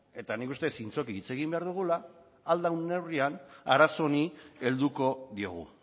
eta nik uste dut zintzoki hitz egin behar dugula ahal den neurrian arazo honi helduko diogu